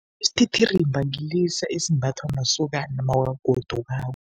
Isithithirimba ngilesa esimbathwa masokana mawagodukako.